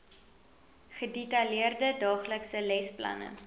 gedetailleerde daaglikse lesplanne